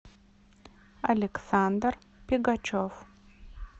александр пегачев